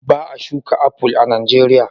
Ba a shuka aful a Nijeriya.